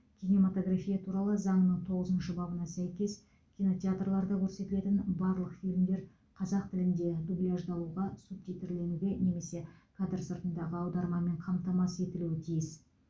кинематография туралы заңның тоғызыншы бабына сәйкес кинотеатрларда көрсетілетін барлық фильмдер қазақ тілінде дубляждалуға субтитрленуге немесе кадр сыртындағы аудармамен қамтамасыз етілуі тиіс